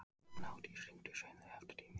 Gnádís, hringdu í Sveinlaugu eftir tíu mínútur.